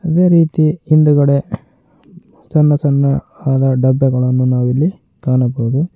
ಅದೇ ರೀತಿ ಹಿಂದುಗಡೆ ಸಣ್ಣ ಸಣ್ಣ ಆದ ಡಬ್ಬಗಳನ್ನು ನಾವು ಇಲ್ಲಿ ಕಾಣಬಹುದು.